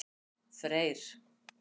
Freyr